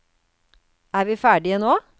Er vi ferdige nå?